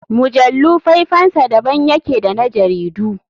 Mujallu faifansa da ban yake da na jaridu.